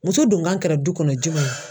Muso donkan kɛra du kɔnɔ jumɛn ye?